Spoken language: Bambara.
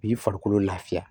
U b'i farikolo lafiya